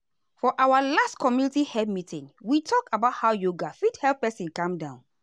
for our last community health meeting we talk about how yoga fit help person calm down.